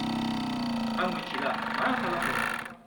आं मिथिला मा खालामबावनो।